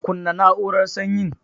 Kunna na'urar sanyin.